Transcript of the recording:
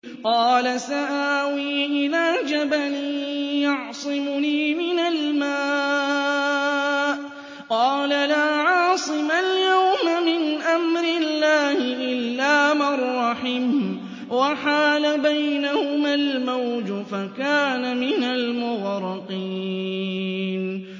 قَالَ سَآوِي إِلَىٰ جَبَلٍ يَعْصِمُنِي مِنَ الْمَاءِ ۚ قَالَ لَا عَاصِمَ الْيَوْمَ مِنْ أَمْرِ اللَّهِ إِلَّا مَن رَّحِمَ ۚ وَحَالَ بَيْنَهُمَا الْمَوْجُ فَكَانَ مِنَ الْمُغْرَقِينَ